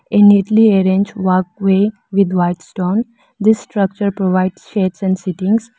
A neatly arrange walkway with white stone this structure provides shades and sittings.